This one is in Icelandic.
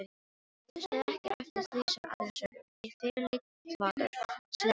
Hlustaði ekki eftir því sem aðrir sögðu, fyrirleit þvaður, slefbera.